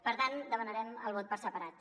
per tant demanarem el vot per separat